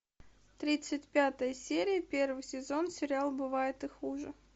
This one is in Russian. тридцать пятая серия первый сезон сериал бывает и хуже